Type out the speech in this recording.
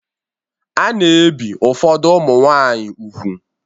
A na-ebi ụfọdụ ụmụ nwanyị úgwù.